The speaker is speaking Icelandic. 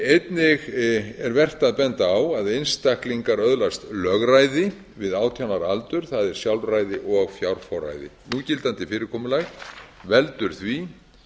einnig er vert að benda á að einstaklingar öðlast lögræði við átján ára aldur það er sjálfræði og fjárforræði núgildandi fyrirkomulag veldur því